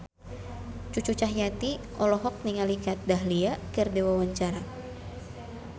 Cucu Cahyati olohok ningali Kat Dahlia keur diwawancara